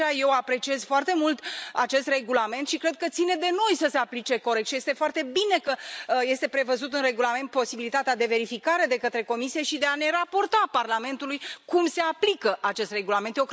De aceea, eu apreciez foarte mult acest regulament și cred că ține de noi să se aplice corect și este foarte bine că este prevăzută în regulament posibilitatea de verificare de către Comisie și de a raporta Parlamentului cum se aplică acest regulament.